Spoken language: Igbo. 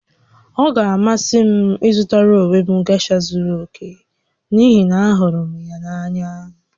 Ọ ga-amasị m ịzụtara onwe m gesha zuru oke n'ihi na ahụrụ m ya n'anya